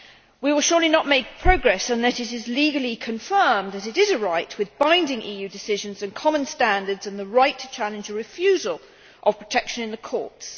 We will surely not make progress, unless it is legally confirmed that it is a right with binding EU decisions and common standards and the right to challenge a refusal of protection in the courts.